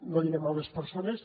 no diré males persones